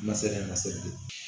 Ma se ma se